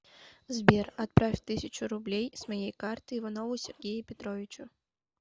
сбер отправь тысячу рублей с моей карты иванову сергею петровичу